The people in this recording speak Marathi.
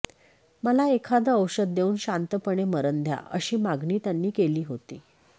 मला एखादं औषध देऊन शांतपणे मरण द्या अशी मागणी त्यांनी केली होती